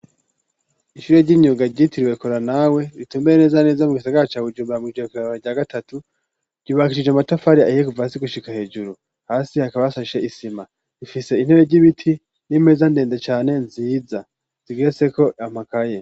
Ishure ry'inyunga ryitiriwekora nawe ritumbeye neza neza mu gisagara ca wujumbra mwijure kurabara rya gatatu ryubakisije amatafari ayiye kuva asi gushika hejuru hasi hakabasashe isima rifise intebe ry'ibiti n'imeza ndende cane nziza zigira seko amakaye.